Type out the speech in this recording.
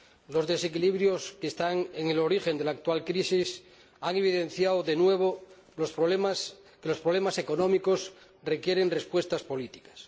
Los desequilibrios que están en el origen de la actual crisis han evidenciado de nuevo que los problemas económicos requieren respuestas políticas.